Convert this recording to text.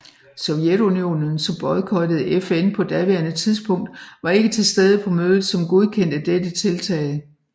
Sovjetunionen som boykottede FN på daværende tidspunkt var ikke til stede på mødet som godkendte dette tiltag